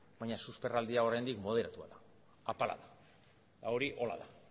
baina susperraldia oraindik moderatua da apala da eta hori horrela da